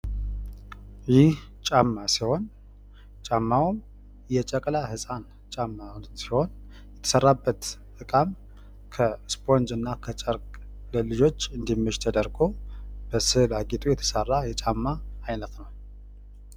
ይህ ጫማ ሲሆን ጫማውም የጨቅላ ህፃን ጫማ ሲሆን የተሰራበት እቃም ከስፖንጅና ከጨርቅ ለልጆች እንዲመች ተደርጎ በስዕል አጊጦ የተሰራ የጫማ አይነት ነው።